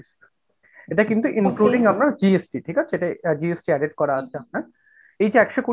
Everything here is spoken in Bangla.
এটা কিন্তু including আপনার GST ঠিক আছে? এটা GST added করা আছে হ্যাঁ, এইযে একশো কুড়ি